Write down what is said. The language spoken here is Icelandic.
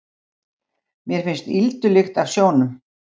Mér finnst ýldulykt af sjónum.